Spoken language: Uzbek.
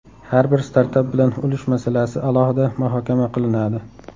Har bir startap bilan ulush masalasi alohida muhokama qilinadi.